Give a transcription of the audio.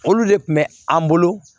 Olu de kun bɛ an bolo